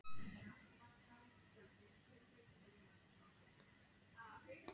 Félagarnir gátu þó ekki slitið sig frá spilamennskunni og héldu áfram að koma saman í